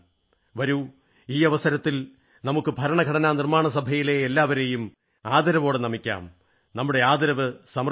വരൂ ഈ അവസരത്തിൽ നമുക്ക് ഭരണഘടനാ നിർമ്മാണസഭയിലെ എല്ലാവരെയും ആദരവോടംടെ നമിക്കാം നമ്മുടെ ആദരവ് സമർപ്പിക്കാം